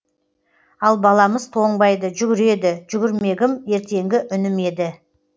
ал баламыз тоңбайды жүгіреді жүгірмегім ертеңгі үнім еді